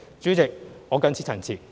主席，我謹此陳辭。